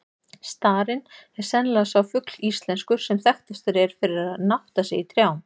Starinn er sennilega sá fugl íslenskur, sem þekktastur er fyrir að nátta sig í trjám.